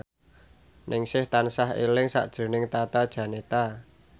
Ningsih tansah eling sakjroning Tata Janeta